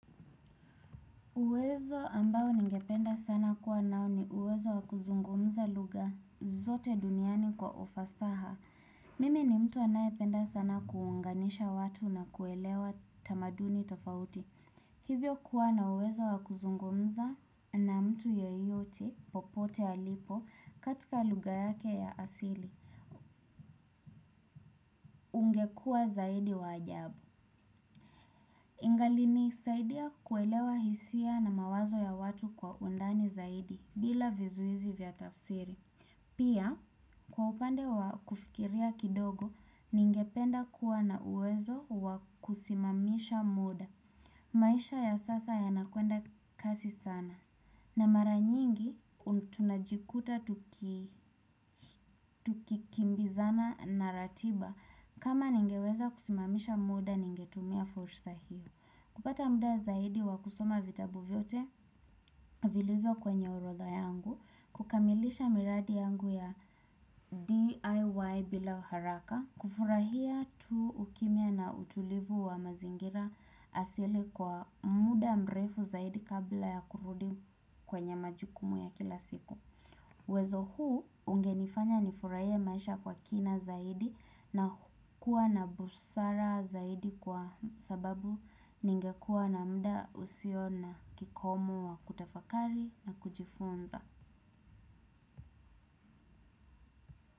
Uwezo ambao ningependa sana kuwa nao ni uwezo wa kuzungumza lugha zote duniani kwa ufasaha. Mimi ni mtu anayependa sana kuunganisha watu na kuelewa tamaduni tofauti. Hivyo kuwa na uwezo wa kuzungumza na mtu yeyote popote alipo katika lugha yake ya asili. Ungekua zaidi wa ajabu. Ingaliniisaidia kuelewa hisia na mawazo ya watu kwa undani zaidi, bila vizuizi vya tafsiri. Pia, kwa upande wa kufikiria kidogo, ningependa kuwa na uwezo wa kusimamisha muda. Maisha ya sasa yanakwenda kasi sana. Na mara nyingi, tunajikuta tukikimbizana na ratiba. Kama ningeweza kusimamisha muda ningetumia fursa hiyo. Kupata muda zaidi wa kusoma vitabu vyote vilivyo kwenye orodha yangu, kukamilisha miradi yangu ya DIY bila haraka, kufurahia tu ukimya na utulivu wa mazingira asili kwa muda mrefu zaidi kabla ya kurudi kwenye majukumu ya kila siku. Uwezo huu, ungenifanya nifurahie maisha kwa kina zaidi na kuwa na busara zaidi kwa sababu ningekuwa na mda usio na kikomo wa kutafakari na kujifunza.